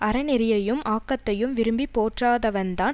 அறநெறியையும் ஆக்கத்தையும் விரும்பி போற்றாதவன்தான்